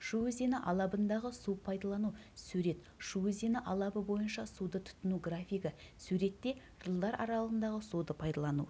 шу өзені алабындағы су пайдалану сурет шу өзені алабы бойынша суды тұтыну графигі суретте жылдар аралығында суды пайдалану